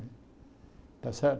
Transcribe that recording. Está certo?